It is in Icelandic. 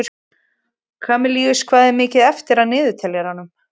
Kamilus, hvað er mikið eftir af niðurteljaranum?